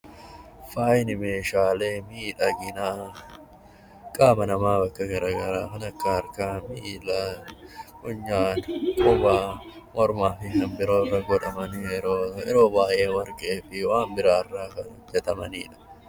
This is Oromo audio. Faayi meeshaalee miidhaginaa qaama namaa bakka garaa garaa kan akka Harkaa fi Miillaa, Funyaan, Qubaa, Mormaa fi kan biroo irra godhaman, yeroo baay'ee Warqee fi waan biraa irraa kan hojjetamani dha.